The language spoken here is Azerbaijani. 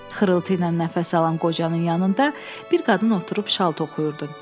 Xırıltı ilə nəfəs alan qocanın yanında bir qadın oturub şal toxuyurdu.